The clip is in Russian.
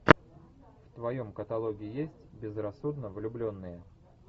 в твоем каталоге есть безрассудно влюбленные